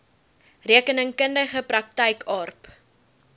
rekeningkundige praktyk aarp